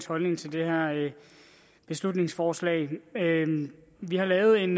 holdning til det her beslutningsforslag vi har lavet en